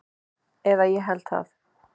Eða ég held það.